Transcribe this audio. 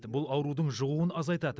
бұл аурудың жұғуын азайтады